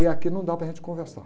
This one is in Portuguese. E aqui não dá para a gente conversar.